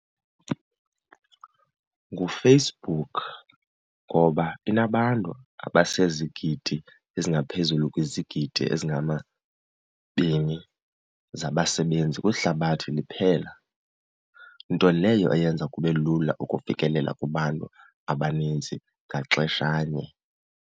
NguFacebook ngoba inabantu abasezigidi ezingaphezulu kwizigidi ezingamabini zabasebenzi kwihlabathi liphela, nto leyo eyenza kube lula ukufikelela kubantu abaninzi ngaxeshanye.